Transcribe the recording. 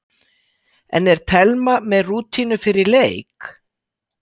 En er Telma með rútínu fyrir leik?